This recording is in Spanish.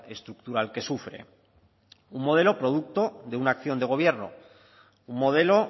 estructural que sufre un modelo producto de una acción de gobierno un modelo